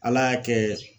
Ala y'a kɛ